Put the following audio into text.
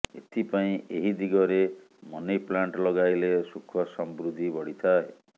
ଏଥିପାଇଁ ଏହି ଦିଗରେ ମନିପ୍ଲାଣ୍ଟ ଲଗାଇଲେ ସୁଖ ସମୃଦ୍ଧି ବଢିଥାଏ